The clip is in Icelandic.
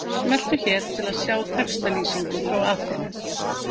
Smelltu hér til að sjá textalýsingu frá Aþenu